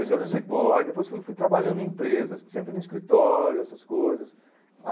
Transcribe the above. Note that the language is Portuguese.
Eu comecei office boy, depois fui fui trabalhando em empresas, sempre no escritório, essas coisas.